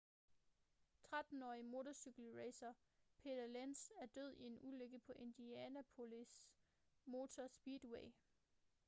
13-årige motorcykelracer peter lenz er død i en ulykke på indianapolis motor speedway